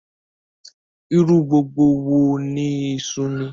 Ìrù gbogbo wọ ni iṣu ní?